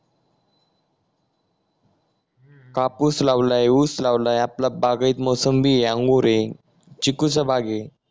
कापूस लावलय ऊस लावलय आपल्या बागेत मोसंबी हे अंगूर हे चिकूचा बाग हे